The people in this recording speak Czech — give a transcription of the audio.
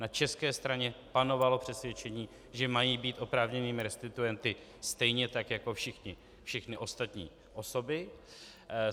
Na české straně panovalo přesvědčení, že mají být oprávněnými restituenty stejně tak jako všechny ostatní osoby.